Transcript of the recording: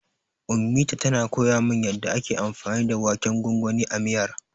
Ummita tana koya min yanda ake anfani da waken gwangwanin a miyar.